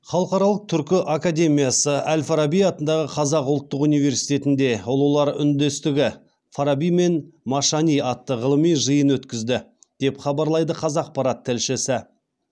халықаралық түркі академиясы әл фараби атындағы қазақ ұлттық университетінде ұлылар үндестігі фараби мен машани атты ғылыми жиын өткізді деп хабарлайды қазақпарат тілшісі